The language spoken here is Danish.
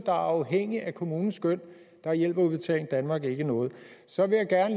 er afhængige af kommunens skøn hjælper udbetaling danmark ikke noget så vil jeg